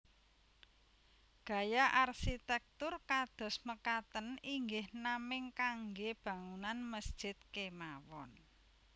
Gaya arsitektur kados mekaten inggih naming kangge bangunan mesjid kemawon